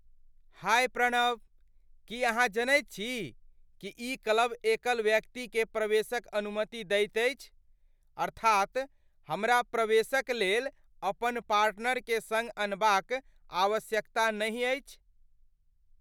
हाय प्रणव, की अहाँ जनैत छी कि ई क्लब एकल व्यक्तिकेँ प्रवेशक अनुमति दैत अछि? अर्थात हमरा प्रवेशक लेल अपन पार्टनरकेँ सङ्ग अनबाक आवश्यकता नहि अछि!